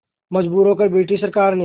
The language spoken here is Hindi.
मजबूर होकर ब्रिटिश सरकार ने